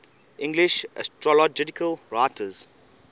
english astrological writers